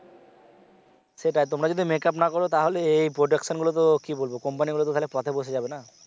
সেটাই তোমরা যদি make up না করো তাহলে এই এই production গুলো তো কি বলবো company গুলো তো পথে বসে যাবে না!